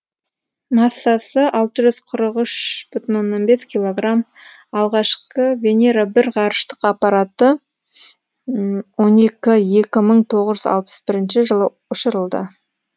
массасы алты жүз қырық үш бүтін оннан бес кг алғашқы венера бір ғарыштық аппараты он екі екі мыңтоғыз жүз алпыс бірінші жылы ұшырылды